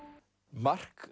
mark